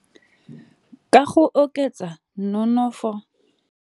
Ka go oketsa nonofo.